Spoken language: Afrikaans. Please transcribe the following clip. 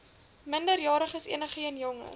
minderjariges enigeen jonger